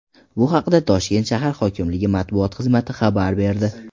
bu haqda Toshkent shahr hokimligi matbuot xizmati xabar berdi.